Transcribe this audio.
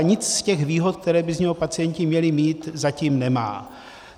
A nic z těch výhod, které by z něho pacienti měli mít, zatím nemá.